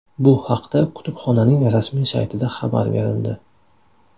Bu haqda kutubxonaning rasmiy saytida xabar berildi .